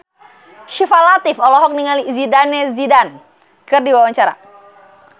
Syifa Latief olohok ningali Zidane Zidane keur diwawancara